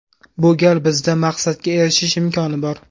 Bu gal bizda maqsadga erishish imkoni bor.